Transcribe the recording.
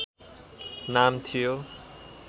नाम थियो